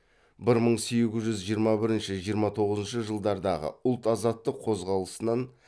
бір мың сегіз жүз жиырма бірінші жиырма тоғызыншы жылдардағы ұлт азаттық қозғалысынан